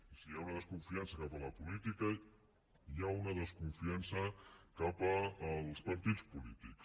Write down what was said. i si hi ha una desconfiança cap a la política hi ha una desconfiança cap als partits polítics